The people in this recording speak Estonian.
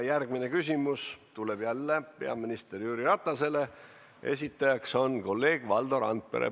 Järgmine küsimus tuleb jälle peaminister Jüri Ratasele, esitajaks on kolleeg Valdo Randpere.